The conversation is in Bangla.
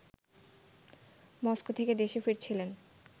মস্কো থেকে দেশে ফিরছিলেন